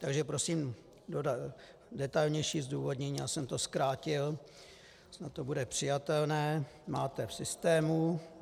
Takže prosím detailnější zdůvodnění, já jsem to zkrátil, snad to bude přijatelné, máte v systému.